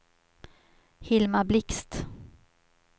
Hilma Blixt